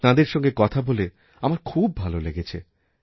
তাঁদের সঙ্গে কথা বলে আমার খুবভালো লেগেছে